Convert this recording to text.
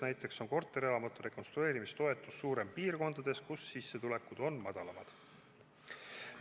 Näiteks on korterelamute rekonstrueerimise toetus suurem piirkondades, kus sissetulekud on madalamad.